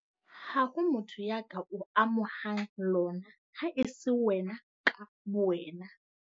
Ha ho motho ya ka o amohang lona ha e se wena ka bowena.